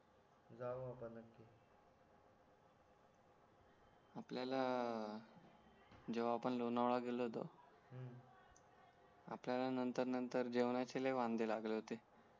आपल्याला जेव्हा आपण लोणावळा गेलो होतो आपल्याला नतंर नतंर जेवणाचे लय वांधे लागले होते